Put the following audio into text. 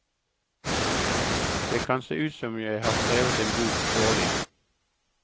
Det kan se ut som om jeg har skrevet en bok årlig.